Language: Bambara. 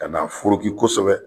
Ka na foroki kosɛbɛ